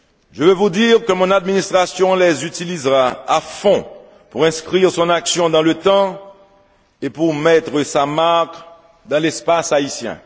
Je veux vous dire que mon administration les utilisera à fond pour inscrire son action dans le temps et pour mettre sa marque dans l'espace haïtien.